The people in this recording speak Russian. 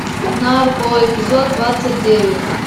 нарко эпизод двадцать девять